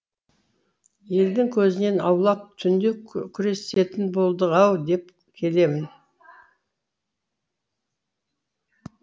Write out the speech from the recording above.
елдің көзінен аулақ түнде күресетін болдық ау деп келемін